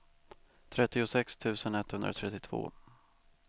trettiosex tusen etthundratrettiotvå